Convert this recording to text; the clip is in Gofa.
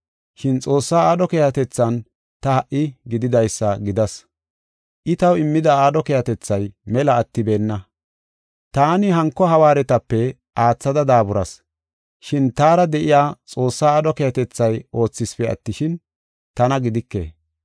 Shin Xoossaa aadho keehatethan ta ha77i gididaysa gidas; I taw immida aadho keehatethay mela attibeenna. Taani hanko hawaaretape aathada daaburas. Shin taara de7iya Xoossaa aadho keehatethay oothisipe attishin, tana gidike.